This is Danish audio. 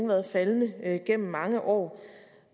været faldende gennem mange år